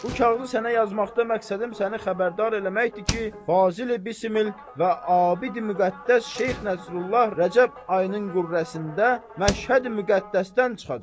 Bu kağızı sənə yazmaqda məqsədim səni xəbərdar eləməkdir ki, Fazil-i Bismil və abid-i müqəddəs Şeyx Nəsrullah Rəcəb ayının qürrəsində Məşhədi-müqəddəsdən çıxacaq.